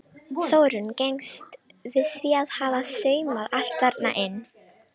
Þórunn gengst við því að hafa saumað allt þarna inni.